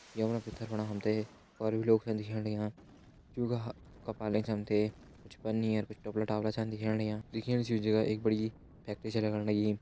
या फणा भितर फणा हम तें और भी लोग छन दिखेण लग्यां जूं का ह-कपाल एंच हम ते कुछ पन्नी अर कुछ टोपला टापला छन दिखेण लग्यां दिखेण सी जु एक बड़ी फैक्ट्री छ लग्ण लगीं।